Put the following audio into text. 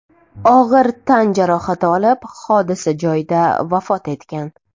og‘ir tan jarohati olib, hodisa joyida vafot etgan.